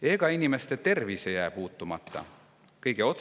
Ega ka inimeste tervis jää puutumata.